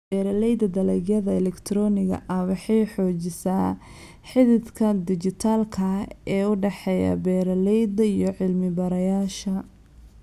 Beeralayda dalagyada elegtarooniga ah waxay xoojisaa xidhiidhka dhijitaalka ah ee u dhexeeya beeralayda iyo cilmi-baarayaasha.